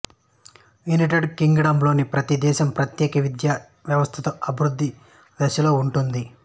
United Kingdom లోని ప్రతి దేశం ప్రత్యేక విద్య వ్యవస్థతో అభివృద్ధి దశలో ఉంటుంది